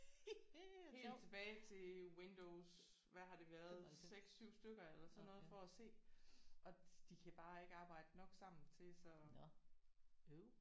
Helt tilbage til Windows hvad har det været 6 7 stykker eller sådan noget for at se og de kan bare ikke arbejde nok sammen til så